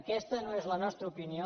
aquesta no és la nostra opinió